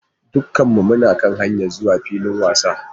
Dukkanmu muna kan hanyar zuwa filin wasan.